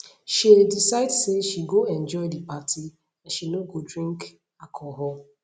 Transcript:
shey decide say she go enjoy the party and she no go drink alcohol